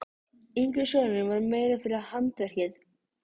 Ég er Lúterskur líka og hollur konungi, sagði hann.